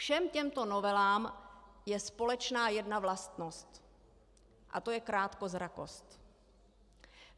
Všem těmto novelám je společná jedna vlastnost a to je krátkozrakost.